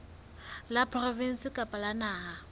la provinse kapa la naha